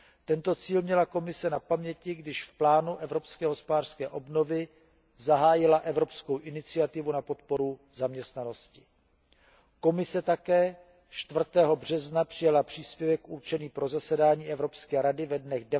Tento cíl měla Komise na paměti, když v rámci Plánu evropské hospodářské obnovy zahájila evropskou iniciativu na podporu zaměstnanosti. Komise také 4. března přijala příspěvek určený pro zasedání Evropské rady ve dnech